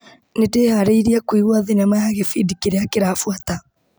Nĩndĩharĩirie kũigua thinema ya gĩbindi kĩrĩa kĩrabuata .